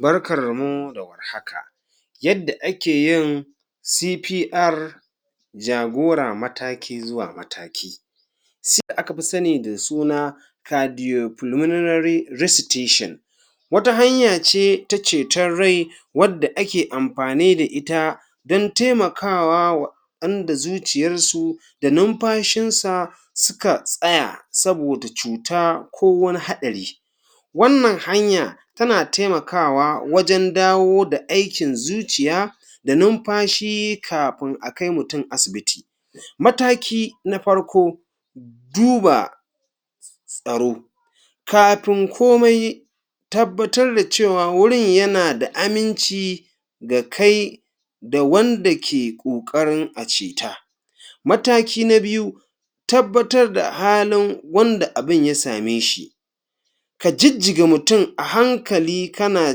Barkarmu da warhaka. Yadda ake yin CPR jagora mataki zuwa mataki da aka fi sani da suna Cardiopulmonary Resuscitation, wata hanya ce ta ceton rai wadda ake amfani da ita don taimakawa wa waɗanda zuciyarsu da numfashinsa suka tsaya saboda cuta ko wani haɗari. Wannan hanya yana taimakawa wajen dawo da aikin zuciya da nunfashi kafin a kai mutum asibiti. Mataki na farko, duba tsaro. Kafin komai, tabbatar da cewa wurin yana da aminci ga kai da wanda ke ƙoƙarin a ceta. Mataki na biyu, tabbatar da halin wanda abin ya same shi. Ka jijjiga mutum a hankali kana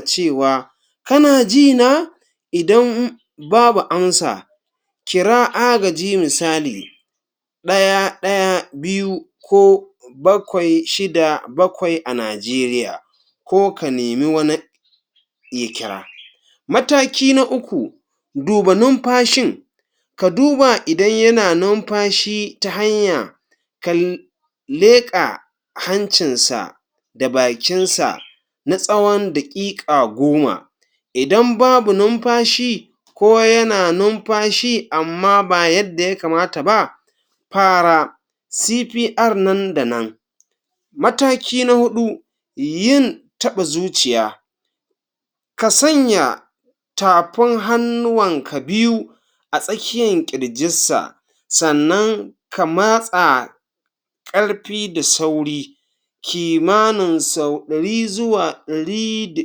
cewa “kana ji na?” Idan babu amsa, kira agaji misali ɗaya ɗaya biyu ko bakwai shida bakwai a Najeriya ko ka nemi wani ya kira. Mataki na uku, duba numfashin ka duba idan yana numfashi ta hanya kal leƙa hancinsa da bakinsa na tsawon daƙiƙa goma idan babu numfashi ko yana numfashi amma ba yadda ya kamata ba fara CPR nan da nan. Mataki na huɗu, yin taɓa zuciya ka sanya tafin hannuwanka biyu a tsakiyan ƙirjissa sannan ka matsa ƙarfi da sauri kimanin sau ɗari zuwa ɗari da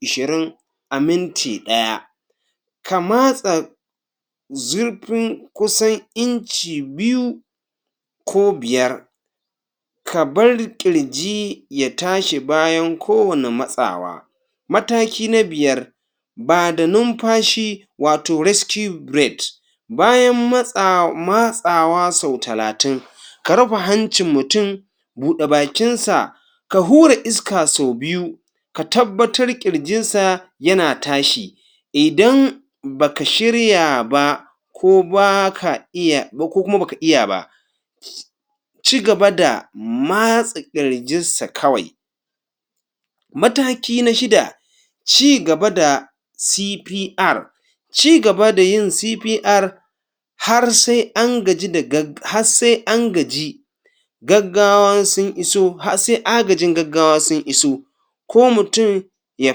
ishirin a minti ɗaya. Ka matsa zurfin kusan inci biyu ko biyar ka bar ƙirji ya tashi bayan ko wani matsawa. Mataki na biyar ba da numfashi wato rescue breath bayan matsawa matsawa sau talatin ka rufe hancin mutum bude bakinsa ka hura iska sau biyu ka tabbbatar ƙirjinsa yana tashi idan ba ka shirya ba ko ba ka iya ko kuma ba ka iya ba cigaba da matsa ƙirjinsa kawai. Mataki na shida cigaba da CPR. Cigaba da yin CPR har sai an gaji da gag has sai an gaji gaggawan sun iso has se agajin gaggawa sun iso ko mutum ya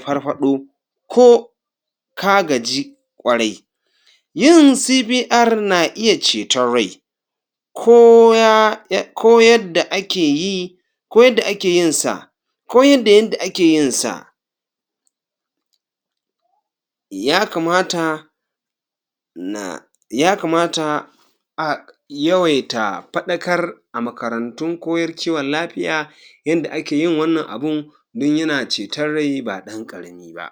farfaɗo ko ka gaji ƙwarai. Yin CPR na iya ceton rai ko ya ko yadda ake yi ko yadda ake yin sa ko yadda yanda ake yin sa ya kamata na ya kamata a yawaita faɗakar a makarantun koyar kiwon lafiya yanda ake yin wannan abun don yana ceton rai ba ɗan ƙarami ba.